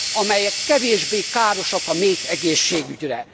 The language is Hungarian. amelyek kevésbé károsak a méhegészségügyre.